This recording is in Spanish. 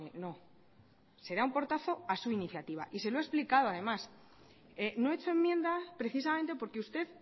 no se da un portazo a su iniciativa y se lo he explicado además no he hecho enmienda precisamente porque usted